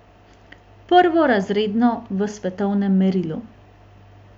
Prvorazredno v svetovnem merilu.